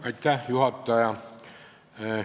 Hea juhataja!